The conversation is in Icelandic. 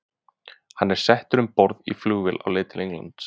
Hann er settur um borð í flugvél á leið til Englands.